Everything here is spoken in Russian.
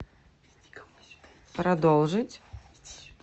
продолжить